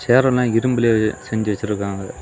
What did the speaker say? சேர் எல்லா இரும்புல செஞ்சி வெச்சிருக்காங்க.